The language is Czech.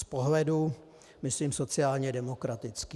Z pohledu - myslím sociálně demokratický.